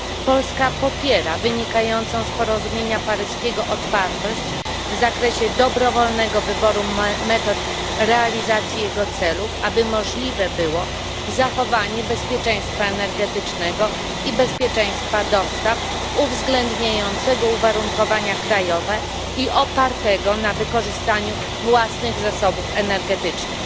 Polska popiera wynikającą z porozumienia paryskiego otwartość w zakresie dobrowolnego wyboru metod realizacji jego celów, aby możliwe było zachowanie bezpieczeństwa energetycznego i bezpieczeństwa dostaw uwzględniającego uwarunkowania krajowe i opartego na wykorzystaniu własnych zasobów energetycznych.